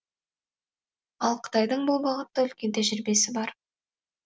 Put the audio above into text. ал қытайдың бұл бағытта үлкен тәжірибесі бар